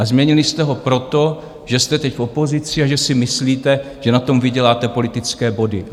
A změnili jste ho proto, že jste teď v opozici a že si myslíte, že na tom vyděláte politické body.